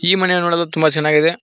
ಈ ಮನೆ ನೋಡಲು ತುಂಬ ಚೆನ್ನಾಗಿದೆ.